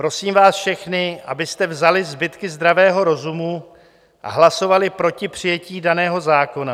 Prosím vás všechny, abyste vzali zbytky zdravého rozumu a hlasovali proti přijetí daného zákona.